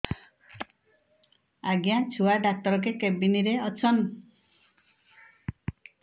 ଆଜ୍ଞା ଛୁଆ ଡାକ୍ତର କେ କେବିନ୍ ରେ ଅଛନ୍